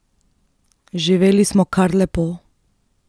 Živeli smo kar lepo.